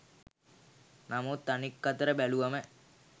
නමුත් අනික් අතට බැලුවම